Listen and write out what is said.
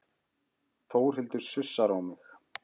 Þórhildur sussar á mig.